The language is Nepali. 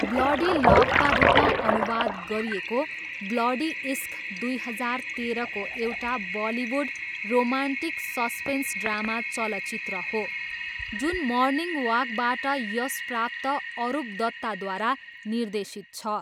ब्लडी लभका रूपमा अनुवाद गरिएको ब्लडी इश्क, दुई हजार तेह्रको एउटा बलिउड रोमान्टिक सस्पेन्स ड्रामा चलचित्र हो जुन मर्निङ वाकबाट यशप्राप्त अरुप दत्ताद्वारा निर्देशित छ।